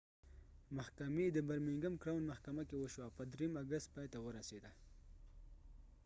محکمې د برمینګم کراؤن محکمه کې وشوه او په ۳ اګست پای ته ورسیده